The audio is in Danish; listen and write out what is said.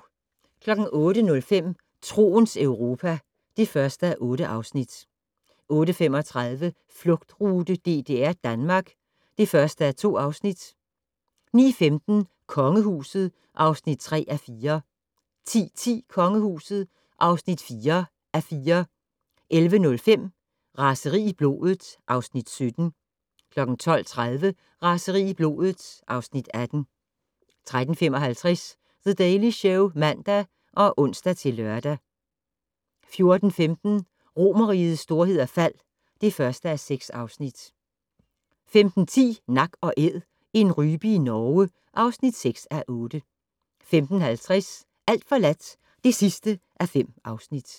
08:05: Troens Europa (1:8) 08:35: Flugtrute: DDR-Danmark (1:2) 09:15: Kongehuset (3:4) 10:10: Kongehuset (4:4) 11:05: Raseri i blodet (Afs. 17) 12:30: Raseri i blodet (Afs. 18) 13:55: The Daily Show (man og ons-lør) 14:15: Romerrigets storhed og fald (1:6) 15:10: Nak & Æd - en rype i Norge (6:8) 15:50: Alt forladt (5:5)